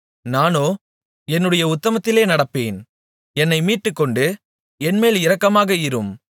நானோ என்னுடைய உத்தமத்திலே நடப்பேன் என்னை மீட்டுக்கொண்டு என்மேல் இரக்கமாக இரும்